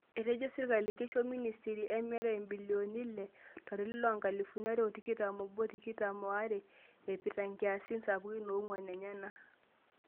Etejo serkali keisho ministry emirare imbilioni ile to lari loo nkalifuni are o tikitam obo tikitam o are eipirta inkiasin sapukin oonguan enyena.